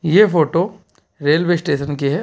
ये photo railway station की है।